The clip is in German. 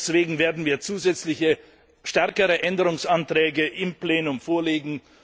Deswegen werden wir zusätzliche, stärkere Änderungsanträge im Plenum vorlegen.